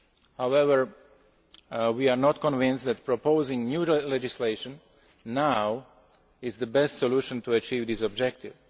another. However, we are not convinced that proposing new legislation now is the best solution to achieve this objective.